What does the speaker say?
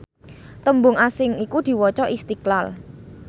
tembung asing iku diwaca Istiqlal